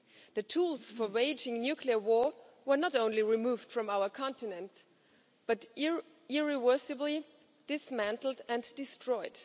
The tools for waging nuclear war were not only removed from our continent but irreversibly dismantled and destroyed.